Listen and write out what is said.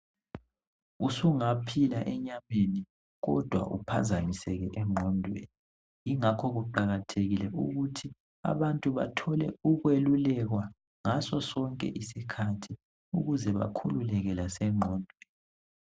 Usungaphila enyameni kodwa uphazamisekile engqondweni ingakho kuqakathekile ukuthi abantu bathole ukwelulekwa ngaso sonke isikhathi ukuze bakhululeke lasengqondweni.